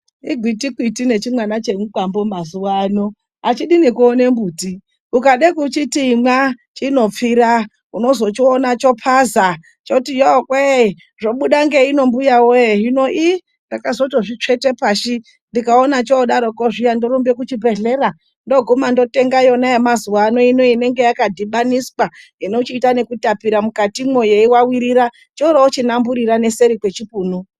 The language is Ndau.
Igwiti kwiti nechimwana chemukwambo mazuva ano achidi nekuona mbiti. Ukada kuchiti imwa chinopfira, unozochiona chopaza choti yowe zvobuda ngeino mbuya we. Hino ndakazotozvitsveta pashi ndikaona chodaroko zviya ndorumba kuchibhedhlera. Ndoguma ndotenga yona yemazuva ano inenge yakadhibaniswa inochiita kutapirira mukati umo yeivavirira, choorochinamburira neseri yechipunu.